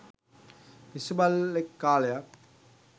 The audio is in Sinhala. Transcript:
පිස්සු බල්ලෙක් කාලයක්